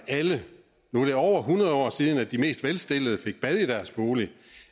alle nu er det over hundrede år siden at de mest velstillede fik bad i deres bolig